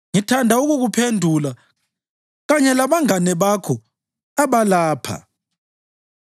Ngithanda ukukuphendula kanye labangane bakho abalapha.